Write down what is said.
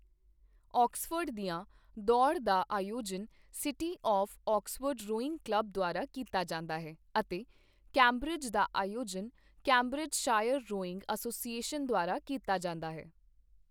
Oxford ਦੀਆਂ ਦੌੜ ਦਾ ਆਯੋਜਨ city of Oxford rowing club ਦੁਆਰਾ ਕੀਤਾ ਜਾਂਦਾ ਹੈ ਅਤੇ ਕੈਂਬਰਿਜ ਦਾ ਆਯੋਜਨ ਕੈਂਬਰਿਜਸ਼ਾਇਰ ਰੋਇੰਗ ਐੱਸੋਸੀਏਸ਼ਨ ਦੁਆਰਾ ਕੀਤਾ ਜਾਂਦਾ ਹੈ।